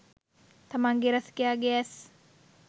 තමන්ගේ රසිකයාගේ ඇස්